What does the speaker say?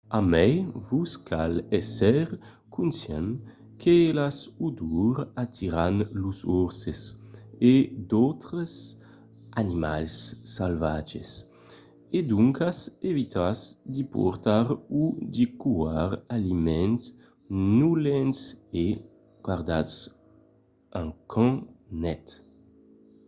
a mai vos cal èsser conscient que las odors atiran los orses e d'autres animals salvatges e doncas evitatz de portar o de còire d'aliments nolents e gardatz un camp net